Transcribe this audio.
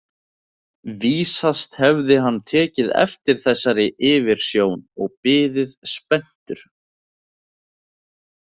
Vísast hefði hann tekið eftir þessari yfirsjón og biði spenntur.